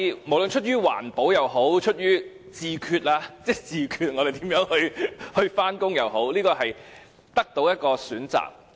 無論出於環保也好，出於"自決"我們如何上班也好，我們可以多一個選擇。